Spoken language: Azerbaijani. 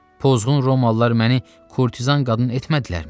Pozğun romalılar məni kurtizan qadın etmədilərmi?